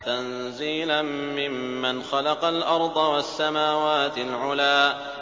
تَنزِيلًا مِّمَّنْ خَلَقَ الْأَرْضَ وَالسَّمَاوَاتِ الْعُلَى